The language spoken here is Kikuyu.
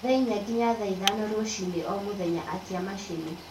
thaa ĩnya nginya ithano rũcĩĩnĩ o mũthenya akĩa machĩnĩ